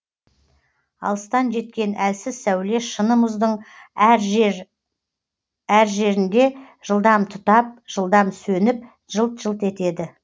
алыстан жеткен әлсіз сәуле шыны мұздың әр жер әр жерінде жылдам тұтап жылдам сөніп жылт жылт етеді